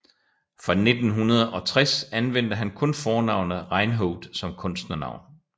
Fra 1960 anvendte han kun fornavnet Reinhoud som kunstnernavn